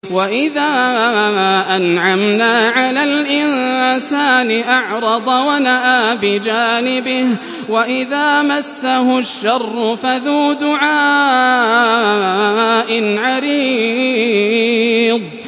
وَإِذَا أَنْعَمْنَا عَلَى الْإِنسَانِ أَعْرَضَ وَنَأَىٰ بِجَانِبِهِ وَإِذَا مَسَّهُ الشَّرُّ فَذُو دُعَاءٍ عَرِيضٍ